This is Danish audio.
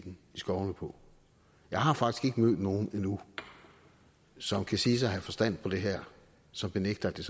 skovene på jeg har faktisk ikke mødt nogen endnu som kan siges at have forstand på det her som benægter at det